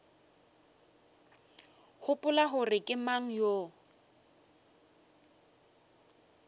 gopola gore ke mang yo